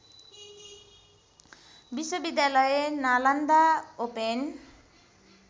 विश्वविद्यालय नालन्दा ओपेन